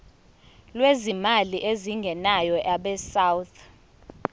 lwezimali ezingenayo abesouth